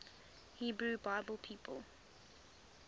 hebrew bible people